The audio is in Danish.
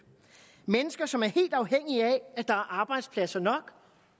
mennesker som er helt afhængige af at der er arbejdspladser nok